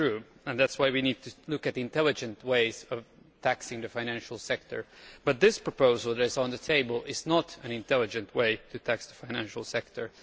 That is true and that is why we need to look at intelligent ways of taxing the financial sector, but this proposal that is on the table is not an intelligent way of taxing the financial sector.